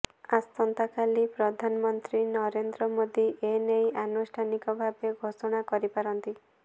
ଆସନ୍ତାକାଲି ପ୍ରଧାନମନ୍ତ୍ରୀ ନରେନ୍ଦ୍ର ମୋଦୀ ଏନେଇ ଆନୁଷ୍ଠାନିକ ଭାବେ ଘୋଷଣା କରିପାରନ୍ତି